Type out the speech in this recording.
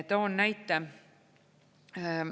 Toon näite.